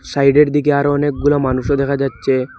সাইডের দিকে আরও অনেকগুলা মানুষও দেখা যাচ্ছে।